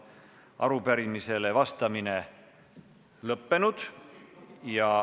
Arupärimisele vastamine lõppenud.